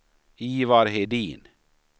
Ivar Hedin